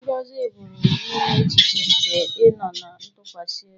Ngọzi pụrụ inye echiche nke ịnọ ná ntụkwasị obi.